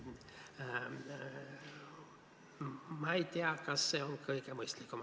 Ma ei tea, kas see on kõige mõistlikum.